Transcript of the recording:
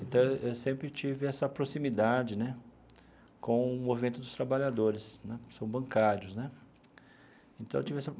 Então, eu sempre tive essa proximidade né com o movimento dos trabalhadores né, que são bancários né então eu tive essa.